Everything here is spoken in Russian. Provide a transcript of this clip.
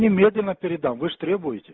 немедленно передам вы ж требуете